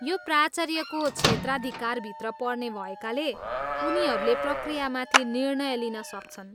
यो प्राचार्यको क्षेत्राधिकारभित्र पर्ने भएकाले, उनीहरूले प्रक्रियामाथि निर्णय लिन सक्छन्।